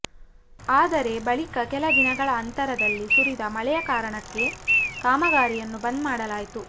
ಆದರೆ ಬಳಿಕ ಕೆಲ ದಿನಗಳ ಅಂತರದಲ್ಲಿ ಸುರಿದ ಮಳೆಯ ಕಾರಣಕ್ಕೆ ಕಾಮಗಾರಿಯನ್ನು ಬಂದ್ ಮಾಡಲಾಯಿತು